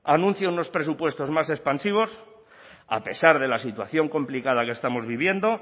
anuncia unos presupuestos más expansivos a pesar de la situación complicada que estamos viviendo